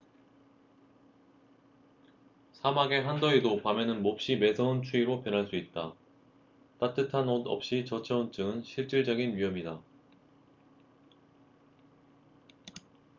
사막의 한더위도 밤에는 몹시 매서운 추위로 변할 수 있다 따뜻한 옷 없이 저체온증은 실질적인 위험이다